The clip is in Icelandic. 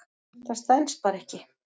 Það stenst bara ekki.